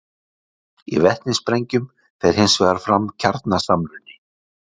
í vetnissprengjum fer hins vegar fram kjarnasamruni